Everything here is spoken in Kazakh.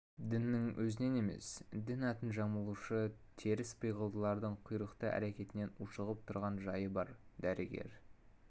діннің өзінен емес дін атын жамылушы теріс пиғылдылардың құйтырқы әрекетінен ушығып тұрған жайы бар дәрігер